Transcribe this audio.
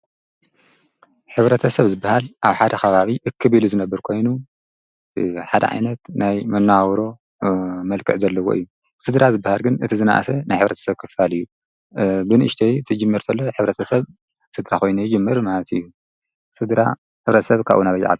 ኅብረተ ሰብ ዝበሃል ኣብ ሓደ ኻባቢ እክቢሉ ዝነብር ኮይኑ ሓደ ዓይነት ናይ መናውሮ መልከዕ ዘለዎ እዩ ሥድራ ዝበሃል ግን እቲ ዝነእሰ ናይ ኅብረተ ሰብ ክፋል እዩ ብንእሽደይ እትጅም ርእንተሎ ኅብረተ ሰብ ሥድራ ኾይኑ ይጅምር ማእት እዩ ሥድራ ኅብሪተ ሰብ ካኡ ናበኣየዓሉ።